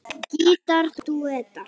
Gítar dúettar